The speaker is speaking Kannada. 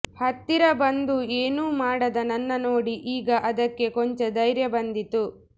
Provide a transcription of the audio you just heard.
ಹತ್ತಿರ ಬಂದೂ ಎನೂ ಮಾಡದ ನನ್ನ ನೋಡಿ ಈಗ ಅದಕ್ಕೆ ಕೊಂಚ ಧೈರ್ಯ ಬಂದಿತ್ತು